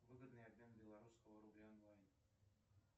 выгодный обмен белорусского рубля онлайн